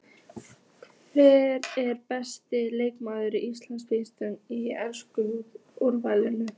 Hver er besti leikmaður tímabilsins í ensku úrvalsdeildinni?